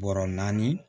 Bɔrɔ naani